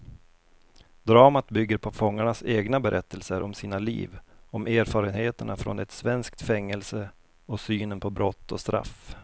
Dramat bygger på fångarnas egna berättelser om sina liv, om erfarenheterna från ett svenskt fängelse och synen på brott och straff.